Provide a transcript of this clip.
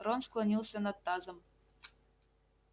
рон склонился над тазом